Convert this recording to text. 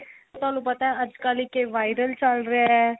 ਤੁਹਾਨੂੰ ਪਤਾ ਅੱਜਕਲ ਇੱਕ ਏ viral ਚੱਲ ਰਿਹਾ